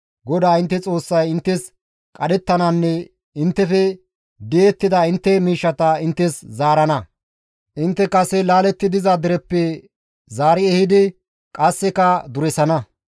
GODAA intte Xoossay inttes qadhettananne inttefe di7ettida intte miishshaa inttes zaarana; intte kase laaletti diza dereppe zaari ehidi qasseka duresana.